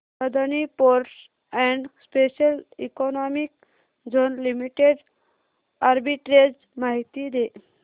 Adani ports and special economic zone limited arbitrage माहिती दे